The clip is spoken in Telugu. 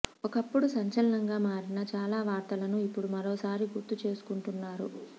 ఒకప్పుడు సంచలనంగా మారిన చాలా వార్తలను ఇప్పుడు మరోసారి గుర్తు చేసుకుంటున్నారు